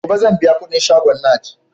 Gobe sanbiya kudin shagon naj